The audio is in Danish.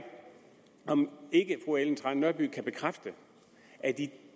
om ikke fru ellen trane nørby kan bekræfte at i